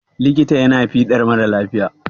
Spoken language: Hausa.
likita yana yin fiɗar mara lafiya